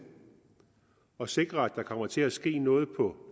at sikre at der kommer til at ske noget på